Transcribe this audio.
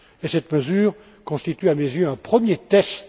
Cette mesure constitue, à mes yeux, un premier test.